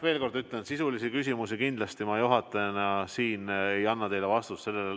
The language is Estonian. Veel kord ütlen, et sisulises küsimuses ma kindlasti juhatajana siin teile vastust ei anna.